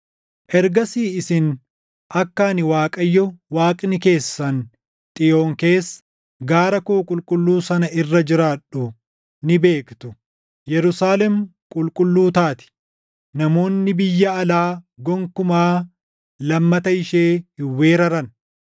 “Ergasii isin akka ani Waaqayyo Waaqni keessan Xiyoon keessa, gaara koo qulqulluu sana irra jiraadhu ni beektu. Yerusaalem qulqulluu taati; namoonni biyya alaa gonkumaa lammata ishee hin weeraran.